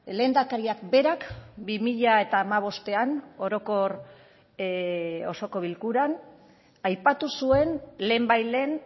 lehendakariak berak bi mila hamabostean orokor osoko bilkuran aipatu zuen lehenbailehen